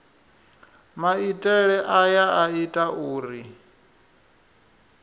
maitele aya a ita uri